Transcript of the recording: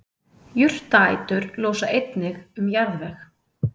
jurtaætur losa einnig um jarðveg